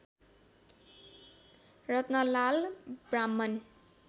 Ratanlal Brahman